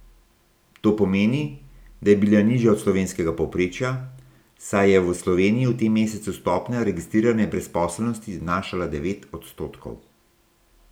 To pomeni, da je bila nižja od slovenskega povprečja, saj je v Sloveniji v tem mesecu stopnja registrirane brezposelnosti znašala devet odstotkov.